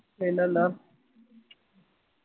പിന്നെന്താ